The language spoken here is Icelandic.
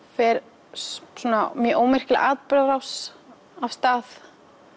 fer svona mjög ómerkileg atburðarás af stað